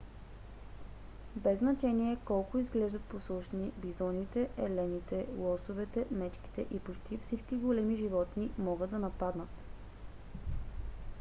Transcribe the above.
без значение колко изглеждат послушни бизоните елените лосовете мечките и почти всички големи животни могат да нападнат